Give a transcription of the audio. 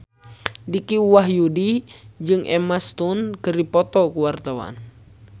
Dicky Wahyudi jeung Emma Stone keur dipoto ku wartawan